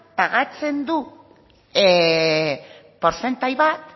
pagatzen du portzentai bat